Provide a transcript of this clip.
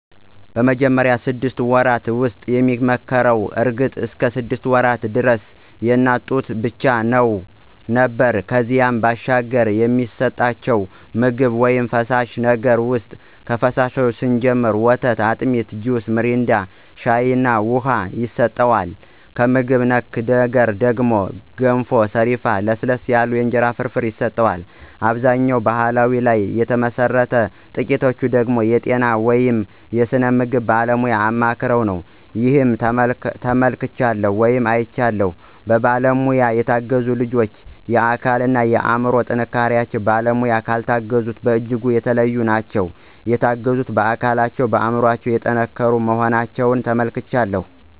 በመጀመሪያው ስድስት ወራት ውስጥ የሚመከረው እርግጥ እስከ ሰድስት ወራት ደረስ የእናት ጡት ብቻ ነው ነበር ከዚያ ባሻገር የሚሰጠቸው ምግብ ውይም ፈሳሽ ነገር ውሰጥ ከፈሳሹ ስንጀምር ወተት፣ አጢሚት፣ ጁስ ሚሪንዳ፣ ሻይ እና ውሃ ይሰጠዋል። ከምግብ ነክ ነገር ደግሞ ገንፎ፣ ሰሪፍ፣ ለስለስ ያሉ የእንጀራ ፍርፍር ይሰጠዋል። አብዛኛው በባሕል ላይ ተመሠረተ ነው ጥቂቶቹ ደገሞ የጤና ወይም የስነ ምግብ ባለሙያ አማክረው ነው። ይህን ተመልክቻለሁ ወይም አይቻለሁም። በባለሙያ የተገዙት ልጆች የአካል እና የአምሮ ጥንካሪቸው በባለሙያ ካልታገዙት በጅጉ የተለዩ ናቸው። የተገዙት በአካለቸውም በአምሮቸው የጠንከሩ መሆናቸውን ተመልክቻለሁ።